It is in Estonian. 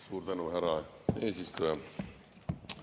Suur tänu, härra eesistuja!